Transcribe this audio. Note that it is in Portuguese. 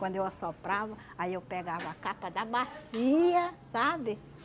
Quando eu assoprava, aí eu pegava a capa da bacia, sabe?